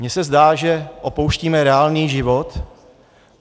Mě se zdá, že opouštíme reálný život.